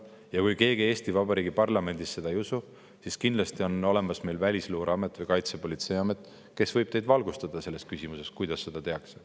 Ja kui Eesti Vabariigi parlamendis leidub keegi, kes seda ei usu, siis kindlasti Välisluureamet või Kaitsepolitseiamet võib teid valgustada selles küsimuses, kuidas seda tehakse.